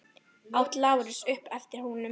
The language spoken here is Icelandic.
át Lárus upp eftir honum.